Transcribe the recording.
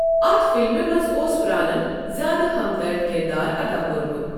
اَتھ فِلمہِ منٛز اوس پرانَن زِیٛادٕ ہمدرد کِردار ادا کوٚرمُت۔